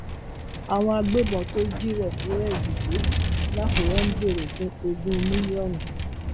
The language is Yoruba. àwọn agbébọn tó jí réfúrẹǹdì gbé lákùrẹ ń béèrè fún ogún mílíọnù